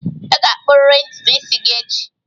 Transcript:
Ị ga-akpụrịrị ntutu isi gị echi!